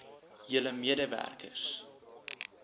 julle mede werkers